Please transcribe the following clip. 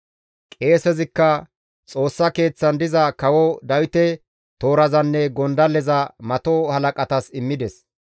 Qeesezikka Xoossa Keeththan diza kawo Dawite toorazanne gondalleza mato halaqatas immides.